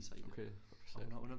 Okay fuck hvor sejt